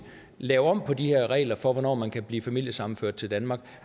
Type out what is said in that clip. lave om på de her regler for hvornår man kan blive familiesammenført til danmark